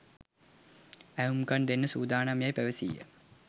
ඇහුම්කන් දෙන්න සූදානම් යෑයි පැවසීය.